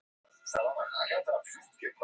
Hamarsheiði